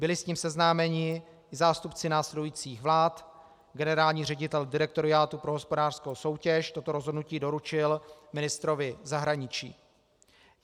Byli s tím seznámeni zástupci následujících vlád, generální ředitel Direktoriátu pro hospodářskou soutěž toto rozhodnutí doručil ministrovi zahraničí.